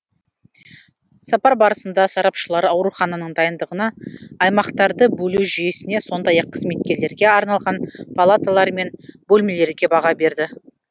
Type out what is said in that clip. сапар барысында сарапшылар аурухананың дайындығына аймақтарды бөлу жүйесіне сондай ақ қызметкерлерге арналған палаталар мен бөлмелерге баға берді